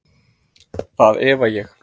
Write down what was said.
Það efa ég.